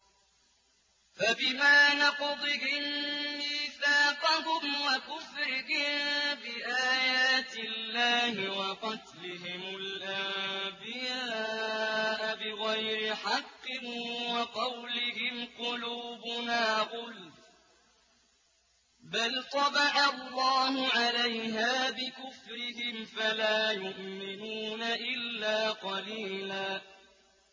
فَبِمَا نَقْضِهِم مِّيثَاقَهُمْ وَكُفْرِهِم بِآيَاتِ اللَّهِ وَقَتْلِهِمُ الْأَنبِيَاءَ بِغَيْرِ حَقٍّ وَقَوْلِهِمْ قُلُوبُنَا غُلْفٌ ۚ بَلْ طَبَعَ اللَّهُ عَلَيْهَا بِكُفْرِهِمْ فَلَا يُؤْمِنُونَ إِلَّا قَلِيلًا